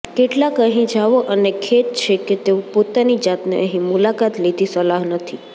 કેટલાક અહીં જાઓ અને ખેદ છે કે તેઓ પોતાની જાતને અહીં મુલાકાત લીધી સલાહ નથી